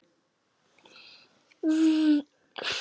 Ferlega eruð þið